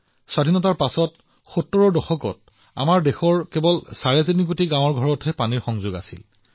স্বাধীনতাৰ পিছত ৭টা দশকত আমাৰ দেশৰ মাত্ৰ ৩৫ কোটি গ্ৰাম্য পৰিয়ালৰ পানীৰ সংযোগ আছিল